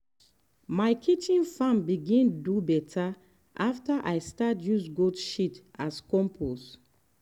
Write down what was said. my kitchen farm begin do better after i start use goat shit as compost.